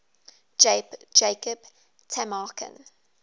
jacob tamarkin